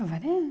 Avaré?